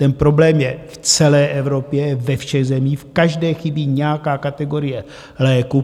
Ten problém je v celé Evropě, ve všech zemích, v každé chybí nějaká kategorie léků.